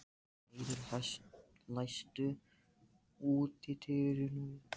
Lyngheiður, læstu útidyrunum.